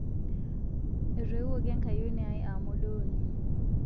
Etoiwuoki enkayioni ai aa modooni